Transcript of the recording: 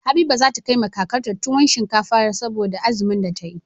Habiba zata kai wa kakar ta tuwon shinkafa saboda azumin da tayi